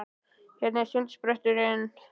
Hvernig var sundspretturinn?